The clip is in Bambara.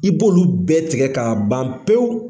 I b'olu bɛɛ tigɛ k'a ban pewu.